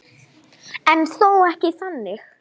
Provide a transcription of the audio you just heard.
En þó ekki þannig.